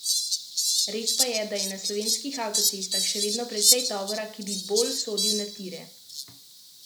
Res pa je, da je na slovenskih avtocestah še vedno precej tovora, ki bi bolj sodil na tire.